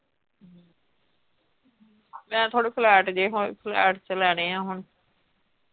ਮੈਂ ਥੋੜੇ flat ਜਹੇ ਹੋਏ flat ਚ ਲੈਣੇ ਆ ਹੁਣ।